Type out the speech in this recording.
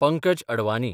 Pankaj Advani